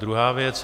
Druhá věc.